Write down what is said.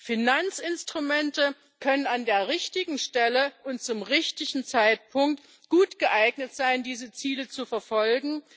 Finanzinstrumente können an der richtigen Stelle und zum richtigen Zeitpunkt gut geeignet sein, diese Ziele zu verfolgen.